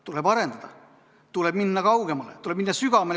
Tuleb arendada, tuleb minna kaugemale, tuleb minna sügavamale.